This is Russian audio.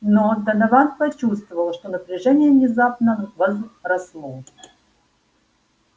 но донован почувствовал что напряжение внезапно возросло